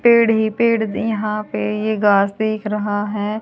पेड़ ही पेड़ यहां पे ये घास दिख रहा है।